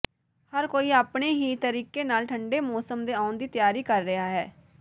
ਹਰ ਕੋਈ ਆਪਣੇ ਹੀ ਤਰੀਕੇ ਨਾਲ ਠੰਡੇ ਮੌਸਮ ਦੇ ਆਉਣ ਦੀ ਤਿਆਰੀ ਕਰ ਰਿਹਾ ਹੈ